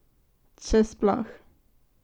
Če sploh!